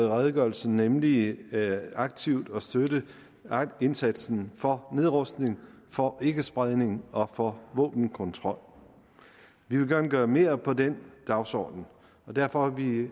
i redegørelsen nemlig aktivt at støtte indsatsen for nedrustning for ikkespredning og for våbenkontrol vi vil gerne gøre mere for den dagsorden derfor har vi